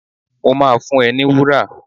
Mo máa fún ẹ ní wúrà.